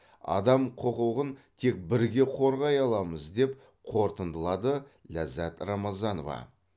адам құқығын тек бірге қорғай аламыз деп қорытындылады ләззат рамазанова